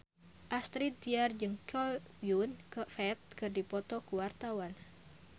Astrid Tiar jeung Chow Yun Fat keur dipoto ku wartawan